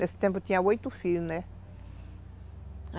Nesse tempo eu tinha oito filhos, né?